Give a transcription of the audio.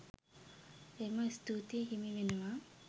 එම ස්තූතිය හිමි වනවා.